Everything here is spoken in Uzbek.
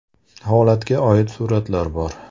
Holatga oid suratlar bor.